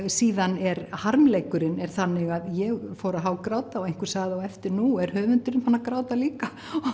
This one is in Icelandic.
síðan er harmleikurinn þannig að ég fór að hágráta og einhver sagði á eftir nú er höfundurinn búin að gráta líka